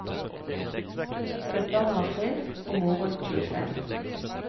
Søsteren var tre, og moren tjuefem.